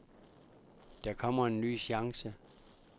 Der kommer en ny chance.